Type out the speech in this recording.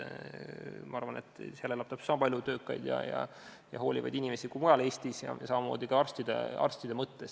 Ma arvan, et seal elab täpselt sama palju töökaid ja hoolivaid inimesi kui mujal Eestis, samamoodi arstide mõttes.